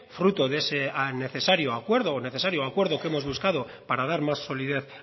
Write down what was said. fruto de ese necesario acuerdo o necesario acuerdo que hemos buscado para dar más solidez